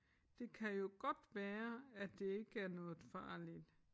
Det kan jo godt være at det ikke er noget farligt